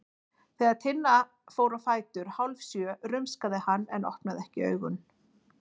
Þegar Tinna fór á fætur hálfsjö rumskaði hann en opnaði ekki augun.